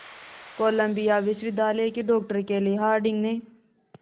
Colombia विश्वविद्यालय की doctor Kelly Harding ने